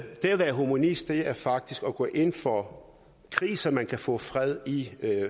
være humanist er faktisk at gå ind for krig så man kan få fred i